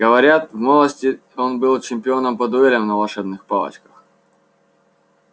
говорят в молодости он был чемпионом по дуэлям на волшебных палочках